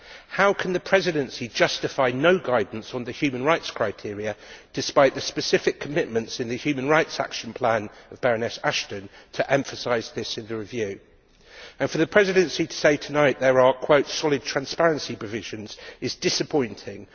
8. How can the Presidency justify no guidance on the human rights criteria despite the specific commitments in the human rights action plan of Baroness Ashton to emphasise this in the review? For the Presidency to say tonight that there are solid transparency provisions' is disappointing.